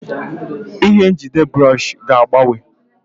Ihe njide bụrọshị ga-agbanwe.